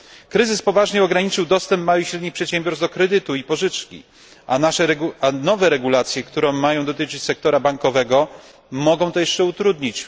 Kryzys poważnie ograniczył dostęp małych i średnich przedsiębiorstw do kredytu i pożyczki, a nowe regulacje, które mają dotyczyć sektora bankowego mogą to jeszcze utrudnić.